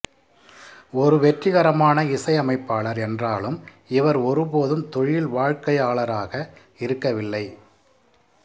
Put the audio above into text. ஒரு வெற்றிகரமான இசையமைப்பாளர் என்றாலும் இவர் ஒருபோதும் தொழில் வாழ்க்கையாளராக இருக்கவில்லை